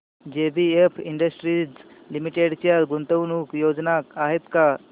JBF industries limited च्या गुंतवणूक योजना आहेत का